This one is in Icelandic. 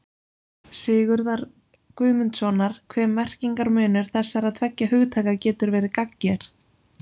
Sigurðar Guðmundssonar hve merkingarmunur þessara tveggja hugtaka getur verið gagnger.